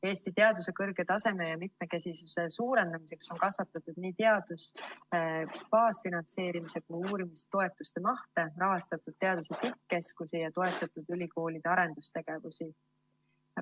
Eesti teaduse kõrge taseme tagamiseks ja mitmekesisuse suurendamiseks on kasvatatud nii teaduse baasfinantseerimise kui ka uurimistoetuste mahtu, rahastatud teaduse tippkeskusi ja toetatud ülikoolide arendustegevust.